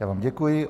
Já vám děkuji.